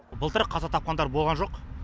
былтыр қаза тапқандар болған жоқ